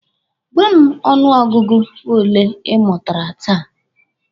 Gwa m ọnụ ọgụgụ ole ị mụtara taa!